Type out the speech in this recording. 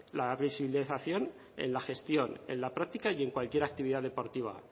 la visibilización en la gestión en la práctica y en cualquier actividad deportiva